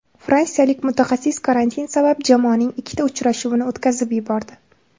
Fransiyalik mutaxassis karantin sabab jamoaning ikkita uchrashuvini o‘tkazib yubordi.